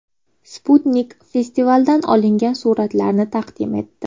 Sputnik festivaldan olingan suratlarni taqdim etdi .